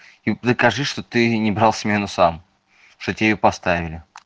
и докажи что ты не брал смену сам что тебе её поставили